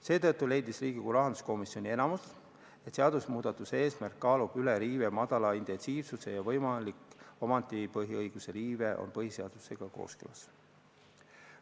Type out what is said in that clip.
Seetõttu leidis Riigikogu rahanduskomisjoni enamik, et seadusmuudatuse eesmärk kaalub riive väikese intensiivsuse üles ja võimalik omandipõhiõiguse riive on põhiseadusega kooskõlas.